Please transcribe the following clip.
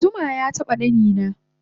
eh zuma yataba ɗanina